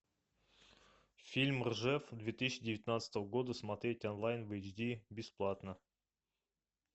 фильм ржев две тысячи девятнадцатого года смотреть онлайн в эйч ди бесплатно